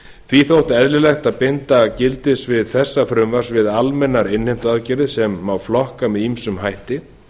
því þótti eðlilegt að binda gildissvið þessa frumvarps við almennar innheimtuaðgerðir sem má flokka með ýmsum hætti